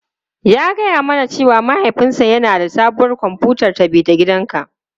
Ya gaya mana cewa mahaifinsa yana da sabuwar kwamfutar tafi-da-gidanka.